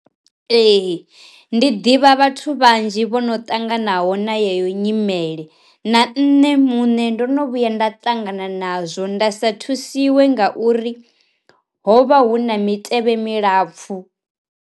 Ee ndi ḓivha vhathu vhanzhi vhono ṱanganaho na yeyo nyimele, na nṋe muṋe ndo no vhuya nda ṱangana nazwo nda sa thusiwe nga uri ho vha hu na mitevhe milapfu.